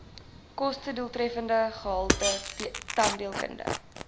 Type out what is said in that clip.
kostedoeltreffende gehalte tandheelkunde